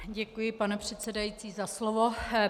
Děkuji, pane předsedající, za slovo.